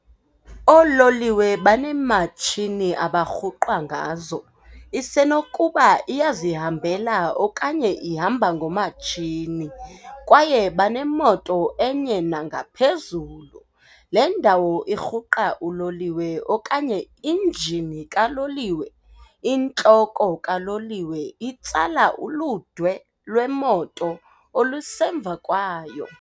Oololiwe baneematshini abarhuqwa ngazo, isenokuba iyazihambela okanye ihamba ngomatshini kwaye banemoto enye nangaphezulu. Le ndawo irhuqa uloliwe okanye injini kaloliwe, intloko kaloliwe itsala uludwe lwemoto olusemva kwayo.